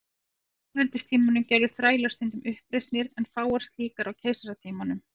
Á lýðveldistímanum gerðu þrælar stundum uppreisnir en fáar slíkar á keisaratímanum.